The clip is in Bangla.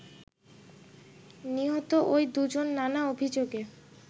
“নিহত ঐ দুজন নানা অভিযোগে